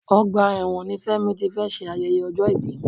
Ọgbà ẹ̀wọ̀n ni Fẹ́mi ti fé ṣe ayẹyẹ ọjọ́ ibi